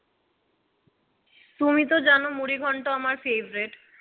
তুমি তো জানো মুড়িঘন্ট আমার favorite